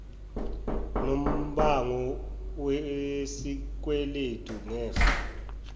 nombango wesikweledu ngefa